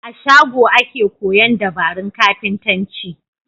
A shago ake koyan dabarun kafintanci